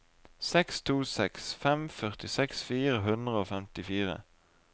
seks to seks fem førtiseks fire hundre og femtifire